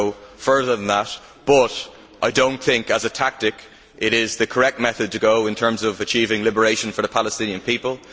I would go further than that, but I do not think that, as a tactic, it is the correct method to use in terms of achieving liberation for the Palestinian people.